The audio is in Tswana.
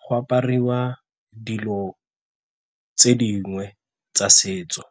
go apariwa dilo tse dingwe tsa setso.